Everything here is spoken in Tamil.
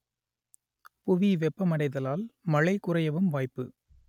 புவி வெப்பமடைதலால் மழை குறையவும் வாய்ப்பு